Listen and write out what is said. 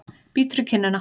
Bítur í kinnina.